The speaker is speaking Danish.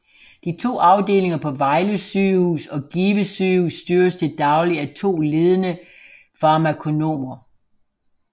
De to afdelinger på Vejle Sygehus og Give Sygehus styres til daglig af to ledende farmakonomer